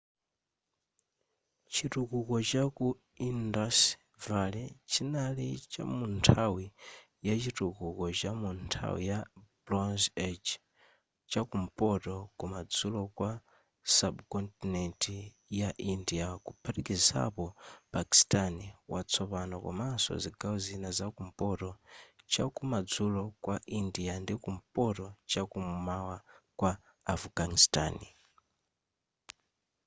chitukuko chaku indus valley chinali chamunthawi ya chitukuko chamu nthawi ya bronze age chakumpoto kumadzulo kwa subcontinent ya india kuphatikizapo pakistan watsopano komaso zigawo zina zakumpoto chakumadzulo kwa india ndi kumpoto chakum'mawa kwa afghanistan